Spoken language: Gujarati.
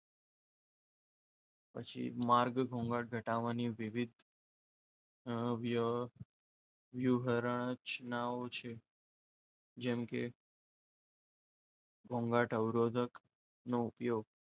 પછી માર્ગ ઘોંઘાટ ઘટાડવાની વિવિધ અમ વ્યુહ રચનાઓ છે. જેમ કે ઘોંઘાટ અવરોધક નો ઉપયોગ.